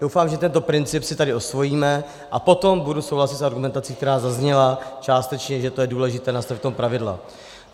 Doufám, že tento princip si tady osvojíme, a potom budu souhlasit s argumentací, která zazněla částečně, že to je důležité, nastavit v tom pravidla.